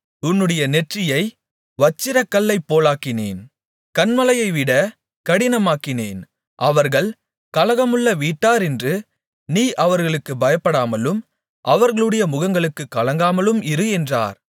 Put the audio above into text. உன்னுடைய நெற்றியை வச்சிரக்கல்லைப் போலாக்கினேன் கன்மலையைவிட கடினமாக்கினேன் அவர்கள் கலகமுள்ள வீட்டாரென்று நீ அவர்களுக்குப் பயப்படாமலும் அவர்களுடைய முகங்களுக்கு கலங்காமலும் இரு என்றார்